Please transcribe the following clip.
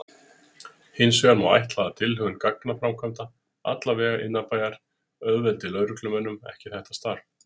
Hinsvegar má ætla að tilhögun gatnaframkvæmda, alla vega innanbæjar, auðveldi lögreglumönnum ekki þetta starf.